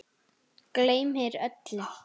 Gleymir öllu.